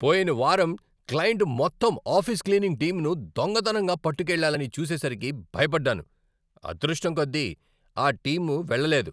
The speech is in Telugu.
పోయిన వారం క్లయింట్ మొత్తం ఆఫీస్ క్లీనింగ్ టీంను దొంగతనంగా పట్టుకెళ్ళాలని చూసేసరికి భయపడ్డాను. అదృష్టం కొద్దీ, ఆ టీం వెళ్లలేదు.